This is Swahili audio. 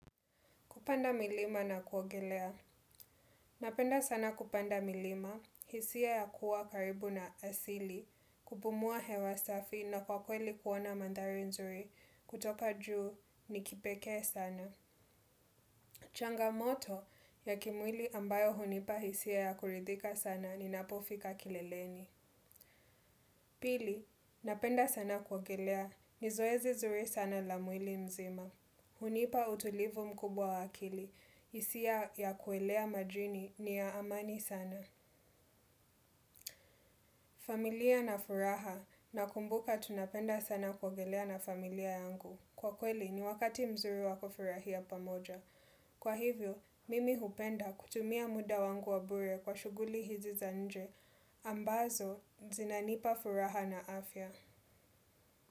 Kupanda milima na kuogelea. Napenda sana kupanda milima, hisia ya kuwa karibu na asili, kupumua hewa safi na kwa kweli kuona mandari nzuri kutoka juu ni kipeke sana. Changamoto ya kimwili ambayo hunipa hisia ya kuridhika sana ni napofika kileleni. Pili, napenda sana kuogelea, nizoezi zuri sana la mwili mzima. Hunipa utulivu mkubwa wakili, hisia ya kuelea majini, niya amani sana. Familia na furaha nakumbuka tunapenda sana kuogelea na familia yangu. Kwa kweli ni wakati mzuri wakofurahia pamoja. Kwa hivyo, mimi hupenda kutumia muda wangu wa bure kwa shuguli hizi za nje. Ambazo, zinanipa furaha na afya.